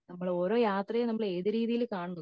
നമ്മൾ ഓരോ യാത്രയെയും നമ്മൾ ഏത് രീതിയിൽ കാണുന്നു